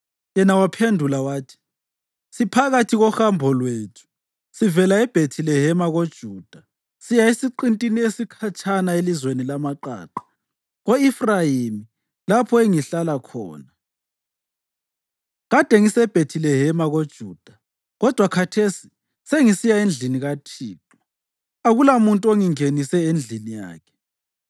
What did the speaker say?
Yena waphendula wathi, “Siphakathi kohambo lwethu sivela eBhethilehema koJuda siya esiqintini esikhatshana elizweni lamaqaqa ko-Efrayimi lapho engihlala khona. Kade ngiseBhethilehema koJuda kodwa khathesi sengisiya endlini kaThixo. Akulamuntu ongingenise endlini yakhe.